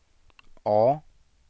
A